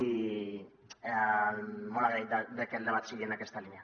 i molt agraït de que el debat sigui en aquesta línia